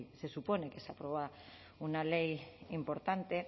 se supone que se aprueba una ley importante